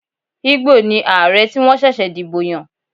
Igbo ni Ààrẹ tí wọ́n ṣẹ̀ṣẹ̀ dìbò yàn.